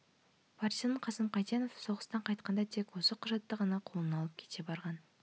партизан қасым қайсенов соғыстан қайтқанда тек осы құжатты ғана қолына алып кете барған